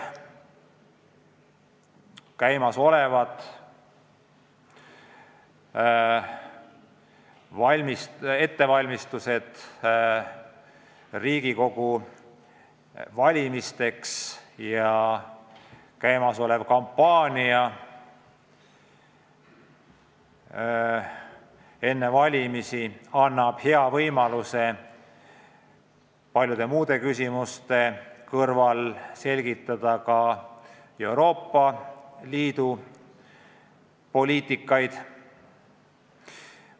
Käimasolevad ettevalmistused Riigikogu valimisteks ja käimasolev kampaania enne valimisi annab hea võimaluse paljude muude küsimuste kõrval selgitada ka Euroopa Liidu poliitikaid.